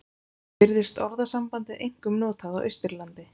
Virðist orðasambandið einkum notað á Austurlandi.